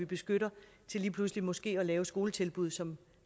beskytter til lige pludselig måske at lave skoletilbud som